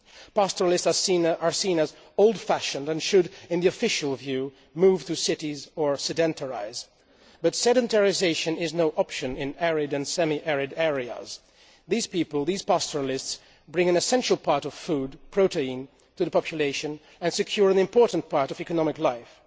Pastoralists are seen as old fashioned and should, in the official view, move to cities or sedentarise, but sedentarisation is no option in arid and semi arid areas. These people, these pastoralists, bring an essential part of food, protein, to the population and secure an important part of economic life.